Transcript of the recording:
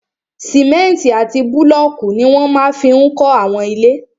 Sìmẹ́ntì àti búlọ̀kù ní wọ́n máa fi n kọ́ àwọn ilé